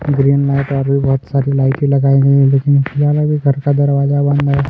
Green light और भी बहुत सारी लाइटें लगाई गई लेकिन फिल्हाल अभी घर का दरवाजा बंद हैं।